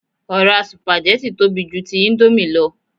Ọ̀rá sùpàgẹ́tì tóbi ju ti íńdómì lọ